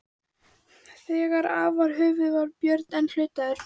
Þegar af var höfuðið var Björn enn hlutaður.